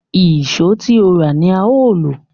Ìṣó tí ó rà ni a ó lò